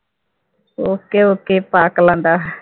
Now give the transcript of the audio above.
okay okay பார்க்கலாம் டா